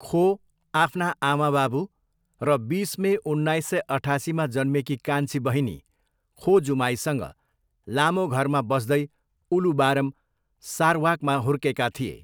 खो आफ्ना आमाबाबु र बिस मे, उन्नाइस सय अठासीमा जन्मेकी कान्छी बहिनी खो जुमाईसँग लामो घरमा बस्दै उलु बारम, सारवाकमा हुर्केका थिए।